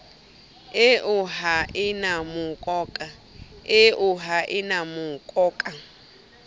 eo ha e na mokoka